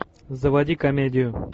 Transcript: заводи комедию